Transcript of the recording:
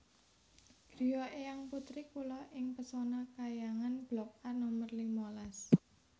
griya eyang putri kula ing Pesona Khayangan blok A nomer lima las